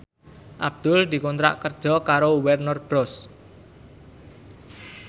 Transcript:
Abdul dikontrak kerja karo Warner Bros